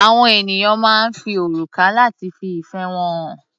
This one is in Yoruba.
Àwọn ènìyàn máa ń fi òrùka lati fi ìfẹ́ wọn hàn.